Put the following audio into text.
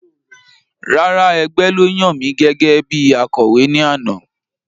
Rárá, ẹgbẹ́ ló yan mi gẹ́gẹ́bí Akọ̀wé ní àná